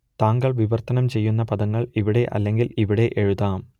താങ്കൾ വിവർത്തനം ചെയ്യുന്ന പദങ്ങൾ ഇവിടെ അല്ലെങ്കിൽ ഇവിടെ എഴുതാം